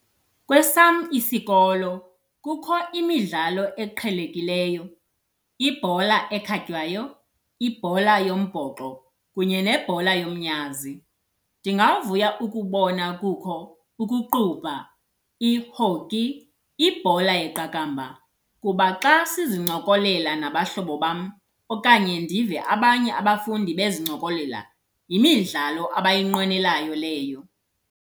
Kwesam isikolo kukho imidlalo eqhelekileyo ibhola ekhatywayo, ibhola yombhoxo kunye nebhola yomnyazi. Ndingavuya ukubona kukho ukuqubha, i-hockey, ibhola yeqakamba kuba xa sizincokolela nabahlobo bam okanye ndive abanye abafundi bezincokolela, yimidlalo abayinqwenelayo leyo.